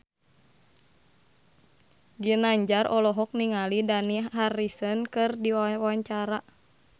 Ginanjar olohok ningali Dani Harrison keur diwawancara